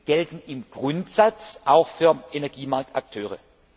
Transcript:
gelten im Grundsatz auch für Energiemarktakteure.